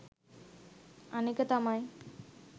අනෙක තමයි